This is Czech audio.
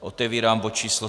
Otevírám bod číslo